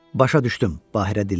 Başa düşdüm, Bahira dilləndi.